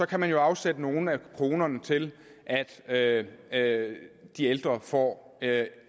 kan man jo afsætte nogle af kronerne til at at de ældre får